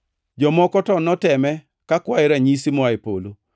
Jomoko to noteme kakwaye ranyisi moa e polo.